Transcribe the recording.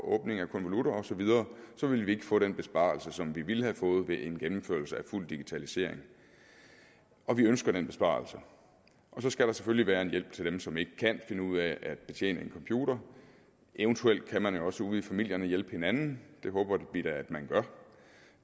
konvolutter osv ville vi ikke få den besparelse som vi ville have fået ved en gennemførelse af fuld digitalisering og vi ønsker den besparelse så skal der selvfølgelig være en hjælp til dem som ikke kan finde ud af at betjene en computer eventuelt kan man jo også ude i familierne hjælpe hinanden det håber vi da at man gør